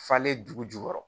Falen dugu jukɔrɔ